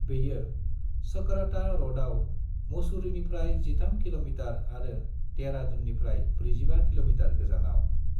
बेयो चकराता रडआव मसूरीनिफ्राय 13 किल'मितार आरो देहरादूननिफ्राय 45 किल'मितार गोजानाव।